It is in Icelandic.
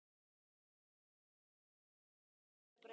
Ég skil þig ekki, sagði hún.